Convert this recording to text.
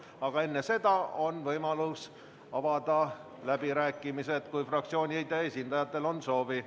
Aga enne seda on võimalus avada läbirääkimised, kui fraktsioonide esindajatel on soovi.